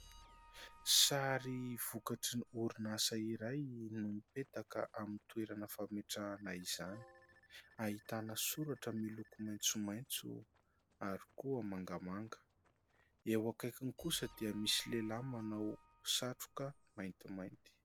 Sary vokatry ny orinasa iray no mipetaka amin'ny toerana fametrahana izany, ahitana soratra miloko maitsomaitso ary koa mangamanga. Eo akaikiny kosa dia misy lehilahy manao satroka maintimainty.